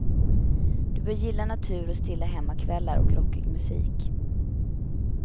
Du bör gilla natur och stilla hemmakvällar och rockig musik.